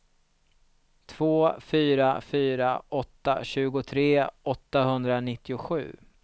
två fyra fyra åtta tjugotre åttahundranittiosju